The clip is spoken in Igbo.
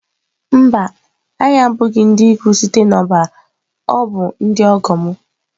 Mba, anyị abụghị ndị ikwu site na ọbara ọ bụ ndị ọgọ m.